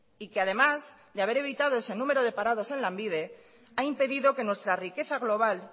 y que además de haber evitado ese número de parados en lanbide ha impedido que nuestra riqueza global